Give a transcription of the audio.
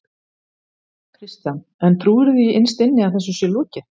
Kristján: En trúirðu því innst inni að þessu sé lokið?